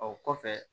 O kɔfɛ